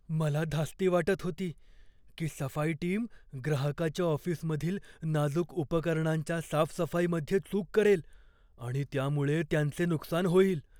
मला धास्ती वाटत होती की, सफाई टीम ग्राहकाच्या ऑफिसमधील नाजूक उपकरणांच्या साफसफाईमध्ये चूक करेल आणि त्यामुळे त्यांचे नुकसान होईल.